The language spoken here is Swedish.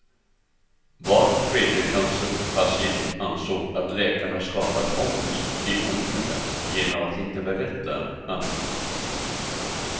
Var tredje cancerpatient ansåg att läkarna skapat ångest i onödan genom att inte berätta allt.